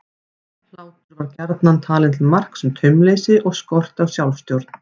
Hlátur var gjarnan talinn til marks um taumleysi og skort á sjálfstjórn.